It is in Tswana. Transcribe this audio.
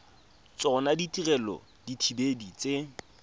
tsona ditirelo tsa dithibedi tse